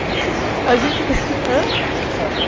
Como é que vocês faziam? A gente de, hã? Como é que eles faziam